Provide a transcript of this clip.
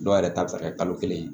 Dɔw yɛrɛ ta bɛ se ka kɛ kalo kelen